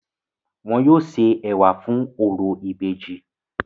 Wọn yóò se ẹ̀wà fún orò ìbejì.